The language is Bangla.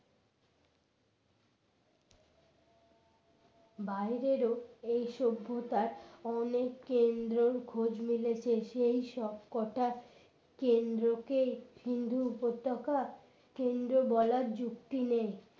বাইরেরও এই সভ্যতার অনেক কেন্দ্রের খোঁজ মিলেছে সেই সবকটা কেন্দ্রকে সিন্দু উপত্যকা কেন্দ্র বলার যুক্তি নেই